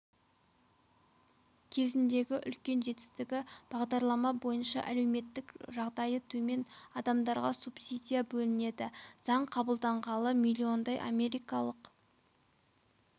кезіндегі үлкен жетістігі бағдарлама бойынша әлеуметтік жағдайы төмен адамдарға субсидия бөлінеді заң қабылданғалы миллиондай америкалық